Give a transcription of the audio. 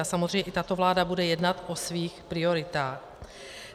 A samozřejmě i tato vláda bude jednat o svých prioritách.